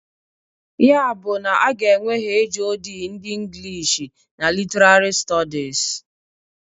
Ya bụ na a ga-enwe HoD ndị Inglish and Literarị Stọdis.